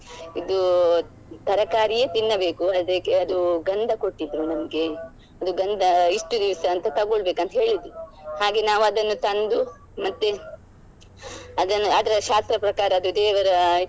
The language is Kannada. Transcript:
ಇದು ತರಕಾರಿಯೇ ತಿನ್ನಬೇಕು ಅದಕ್ಕೆ ಅದು ಗಂಧ ಕೊಟ್ಟಿದ್ರು ನಮ್ಗೆ ಅದು ಗಂಧ ಇಷ್ಟು ದಿವ್ಸ ಅಂತ ತಗೊಳ್ಬೇಕು ಅಂತೇಳಿದ್ರು ಹಾಗೆ ನಾವು ಅದನ್ನು ತಂದು ಮತ್ತೆ ಅದನ್ನು ಅದರ ಶಾಸ್ತ್ರ ಪ್ರಕಾರ ಅದು ದೇವರ ಇದು.